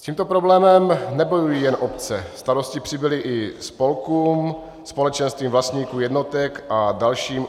S tímto problémem nebojují jen obce, starosti přibyly i spolkům, společenstvím vlastníků jednotek a dalším.